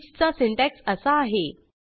स्वीचचा syntax असा आहे